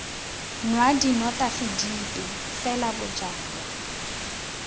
nwa dinotagi dipe fela bojalwa